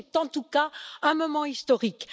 C'est en tout cas un moment historique.